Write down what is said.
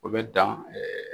U bɛ dan